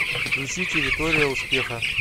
включи территория успеха